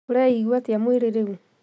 Ũreeigua atĩa mwĩrĩ rĩu?